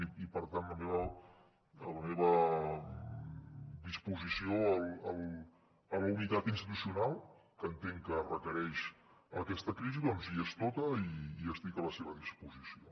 i per tant la meva disposició a la unitat institucional que entenc que requereix aquesta crisi doncs hi és tota i estic a la seva disposició